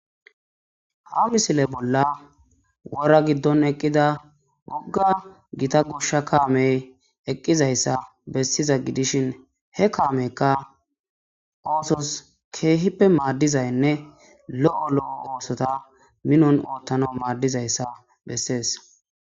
ha misile bolla wora giddon eqqida wogga gita gushsha kaamey eqqizayssa bessiza gidishin he kaameykka oosos keehippe maaddizaynne lo7o lo7o oosota minon oottana maaddizayssa bessees